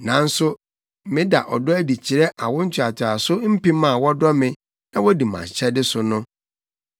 nanso meda ɔdɔ adi kyerɛ awo ntoatoaso mpem a wɔdɔ me na wodi mʼahyɛde so no.